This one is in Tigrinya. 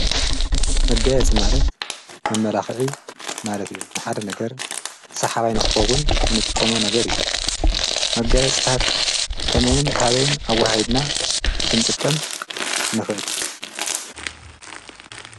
መጋየፂ ማለት መመላኽዒ ማለት እዩ፡፡ ንሓደ ነገር ሳሓባይንኽኾውን እንጥቆሞ ነገር እዩ፡፡ መጋየፅታት ከመይን ታበይን ኣወሃሂድና ኽንጥቀም ንኽእል?